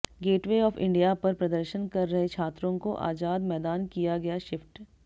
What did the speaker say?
gateway of India पर प्रदर्शन कर रहे छात्रों को आजाद मैदान किया गया शिफ्ट